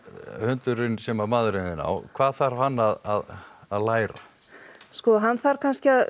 hundurinn sem maðurinn þinn á hvað þarf hann að að læra sko hann þarf kannski